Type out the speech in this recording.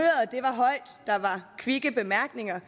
kvikke bemærkninger